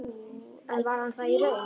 En var hann það í raun?